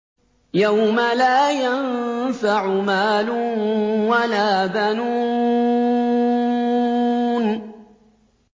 يَوْمَ لَا يَنفَعُ مَالٌ وَلَا بَنُونَ